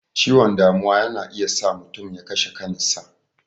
Ciwon damuwa yana iya sa mutum ya kashe kan sa.